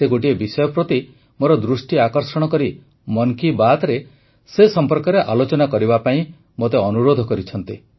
ସେ ଗୋଟିଏ ବିଷୟ ପ୍ରତି ମୋର ଦୃଷ୍ଟି ଆକର୍ଷଣ କରି ମନ୍ କି ବାତ୍ରେ ସେ ସମ୍ପର୍କରେ ଆଲୋଚନା କରିବା ପାଇଁ ମୋତେ ଅନୁରୋଧ କରିଛନ୍ତି